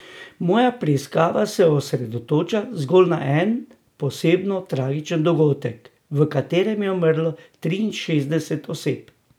Moja preiskava se osredotoča zgolj na en posebno tragičen dogodek, v katerem je umrlo triinšestdeset oseb.